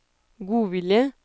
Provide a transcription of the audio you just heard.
godvilje